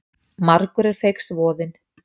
Margur er feigs voðinn.